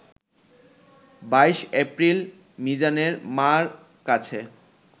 ২২এপ্রিল মিজানের মার কাছে